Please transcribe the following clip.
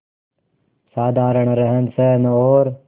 साधारण रहनसहन और